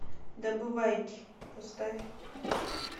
добывайки поставь